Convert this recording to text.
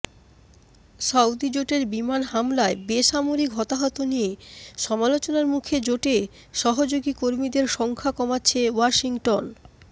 সউদী জোটের বিমান হামলায় বেসামরিক হতাহত নিয়ে সমালোচনার মুখে জোটে সহযোগী কর্মীদের সংখ্যা কমাচ্ছে ওয়াশিংটন